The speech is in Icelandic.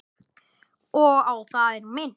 Og á það er minnt.